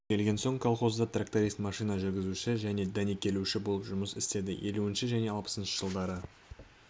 келген соң колхозда тракторист машина жүргізуші және дәнекерлеуші болып жұмыс істеді елуінші және алпысыншы жылдары